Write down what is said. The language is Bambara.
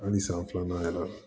Ani san filanan kɛra